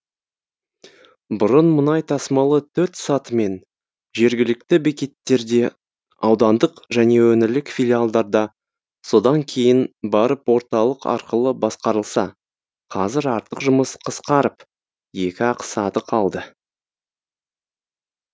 бұрын мұнай тасымалы төрт сатымен жергілікті бекеттерде аудандық және өңірлік филиалдарда содан кейін барып орталық арқылы басқарылса қазір артық жұмыс қысқарып екі ақ саты қалды